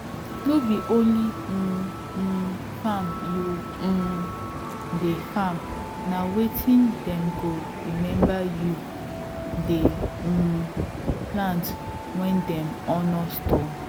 no be only um um famr u um de farm na wetin dem go remember you dey um plant when dem honor stone